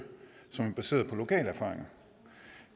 som er baseret på lokalerfaringer